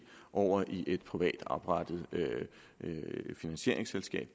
og over i et privat oprettet finansieringsselskab